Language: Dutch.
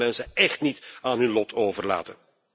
Wij mogen deze mensen echt niet aan hun lot overlaten.